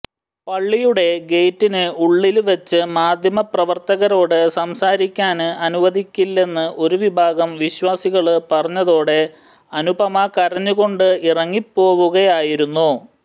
പള്ളിയുടെ ഗേറ്റിന് ഉള്ളില് വച്ച് മാധ്യമപ്രവര്ത്തകരോട് സംസാരിക്കാന് അനുവദിക്കില്ലെന്ന് ഒരു വിഭാഗം വിശ്വാസികള് പറഞ്ഞതോടെ അനുപമ കരഞ്ഞുകൊണ്ട് ഇറങ്ങിപ്പോവുകയായിരുന്നു